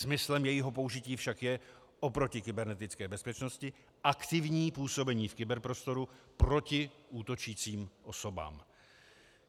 Smyslem jejího použití však je oproti kybernetické bezpečnosti aktivní působení v kyberprostoru proti útočícím osobám.